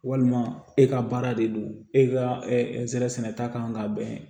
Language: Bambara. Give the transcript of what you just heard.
Walima e ka baara de don e ka zɛrɛsɛnɛta kan ka bɛn